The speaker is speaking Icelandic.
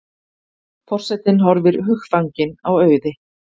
Forsetinn horfir hugfanginn á Auði.